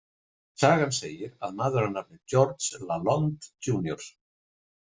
Sagan segir að maður að nafni George LaLonde, Jr